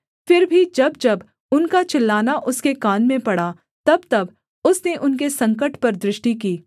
फिर भी जब जब उनका चिल्लाना उसके कान में पड़ा तबतब उसने उनके संकट पर दृष्टि की